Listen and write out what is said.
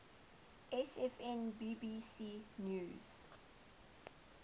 sfn bbc news